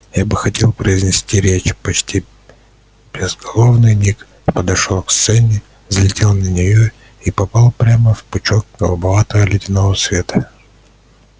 я бы хотел произнести речь почти безголовый ник подошёл к сцене взлетел на нее и попал прямо в пучок голубовато-ледяного света